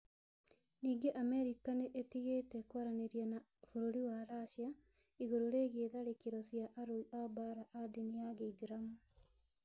Ningĩ Amerika nĩ ĩtigĩte kwaranĩria na bũrũri wa Racia igũrũ rĩgiĩ tharĩkĩro cia arũi a mbaara a ndini ya gĩithiramu.